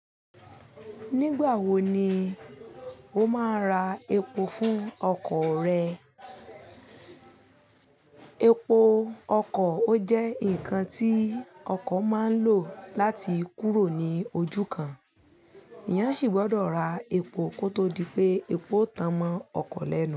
Nígbà wo ni o máa ra epo fún ọkọ̀ rẹ? Epo ọkọ̀ ó jẹ́ ǹkan tí ọkọ̀ máa ń lò láti kúrò ní ojú kan. Eyán sì gbọ́dọ̀ ra epo kó tó di pé epo tán mọ́ ọkọ̀ lẹ́nu.